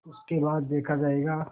उसके बाद देखा जायगा